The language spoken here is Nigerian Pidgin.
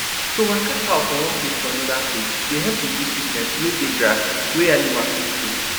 to waka cow from one place to anoda place dey help reduce sickness wey dey grass wey animall too full